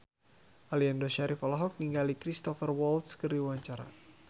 Aliando Syarif olohok ningali Cristhoper Waltz keur diwawancara